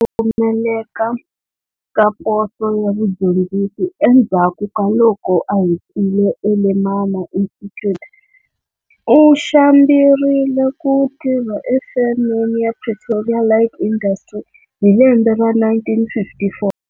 Pfumeleka ka poso ya vudyondzisi endzhaku ka loko a hetile eLemana Institute, u xambirile ku tirha efemeni ya Pretoria Light Industry hi lembe ra 1954.